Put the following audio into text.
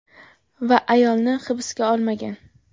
Va ayolni hibsga olmagan.